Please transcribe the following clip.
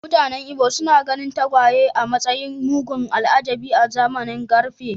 Mutanen Ibo suna ganin tagwaye a matsayin mugun al’ajabi a zamanin ƙarfe.